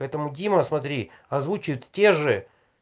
поэтому дима смотри озвучивает те же